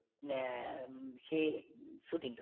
উম সেই shooting তো